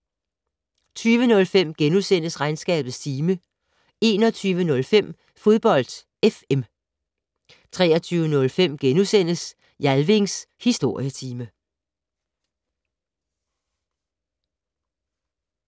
20:05: Regnskabets time * 21:05: Fodbold FM 23:05: Jalvings Historietime *